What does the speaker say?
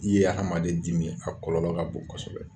I ye hadamaden dimi ye a kɔlɔlɔ ka bon kosɛbɛ.